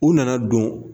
U nana don